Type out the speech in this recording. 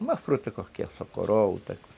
Uma fruta qualquer, só coroa ou outra.